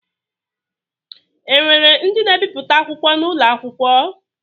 E nwere ndi na-ebipụta akwụkwọ n’ụlọ akwụkwọ?